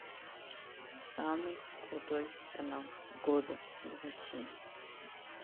самый крутой канал года в россии